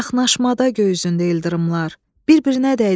Çaxnaşmada göy üzündə ildırımlar bir-birinə dəydi.